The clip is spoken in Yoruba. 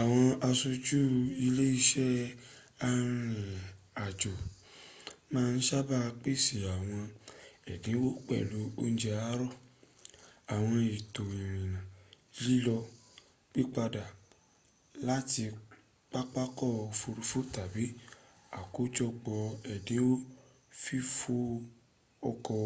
àwọn aṣojú ilé iṣẹ́ arìnàjò máa ń sábà pèsè àwọn ẹ̀dínwó pẹ̀lú oúnje àárọ̀ àwọn ètò ìrìnà lílọ/pípadà láti pápakọ̀ òfuurufú tàbí àkójọpọ̀ èdínwó fífò ọkọ̀